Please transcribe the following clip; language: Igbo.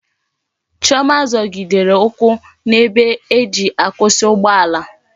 Chioma zogidere ukwu na ebe eji akwusi ugbo ala